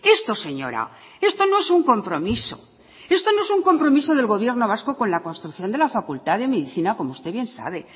esto señora esto no es un compromiso esto no es un compromiso del gobierno vasco con la construcción de la facultad de medicina como usted bien sabe